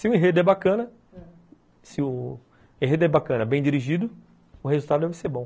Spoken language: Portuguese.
Se o enredo é bacana, se o enredo é bacana, bem dirigido, o resultado deve ser bom.